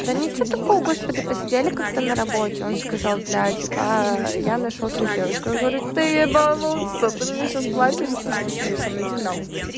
да ничего такого господи посидели как-то на работе он сказал бля типа я нашёл себе девушку я говорю ты ебанулся ты мне сейчас платишь за то что ты сидишь со мной иди нахуй